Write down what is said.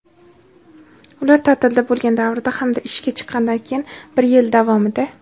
ular taʼtilda bo‘lgan davrda hamda ishga chiqqanidan keyin bir yil davomida;.